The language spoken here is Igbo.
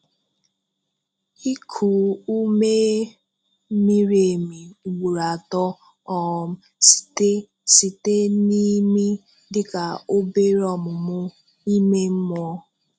Iku ume miri emi ugboro atọ um site site n’imi dịka obere ọmụmụ ime mmụọ.